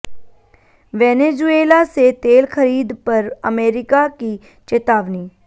Venezuela से तेल खरीद पर अमरीका की चेतावनी